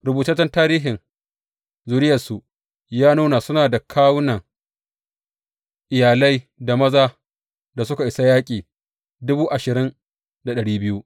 Rubutaccen tarihin zuriyarsu ya nuna suna da kawunan iyalai da mazan da suka isa yaƙi